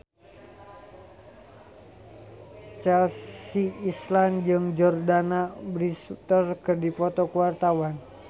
Chelsea Islan jeung Jordana Brewster keur dipoto ku wartawan